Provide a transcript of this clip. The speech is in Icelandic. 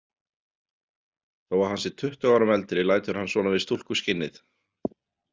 Þó að hann sé tuttugu árum eldri lætur hann svona við stúlkuskinnið.